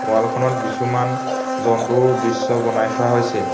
Wall খনত কিছুমান জন্তুৰ দৃশ্য বনাই থোৱা হৈছে।